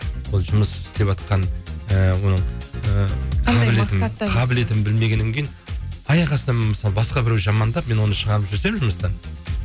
ол жұмыс істеватқан і оның і қандай мақсатта қаблетін білмегеннен кейін аяқ астынан мысалы басқа біреу жамандап мен оны шығарып жіберсем жұмыстан